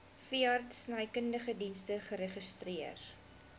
veeartsenykundige dienste geregistreer